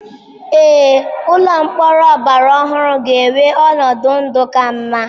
Ee, Ụlọ mkpọrọ ọgbara ọhụrụ ga-enwe ọnọdụ ndụ ka mma.